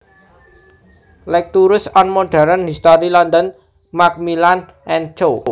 Lectures on Modern History London Macmillan and Co